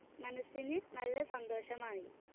മനസ്സിന് നല്ല സന്തോഷമായി.